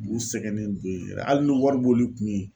U sɛgɛnnen don yɛrɛ hali ni wɔri b'oli kun ye